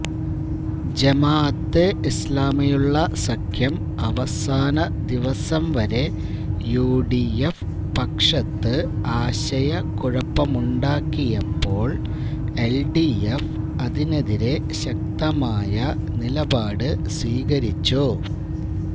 ജമാഅത്തൈ ഇസ്ലാമിയുള്ള സഖ്യം അവസാന ദിവസം വരെ യുഡിഎഫ് പക്ഷത്ത് ആശയക്കുഴപ്പമുണ്ടാക്കിയപ്പോള് എല്ഡിഎഫ് അതിനെതിരെ ശക്തമായ നിലപാട് സ്വീകരിച്ചു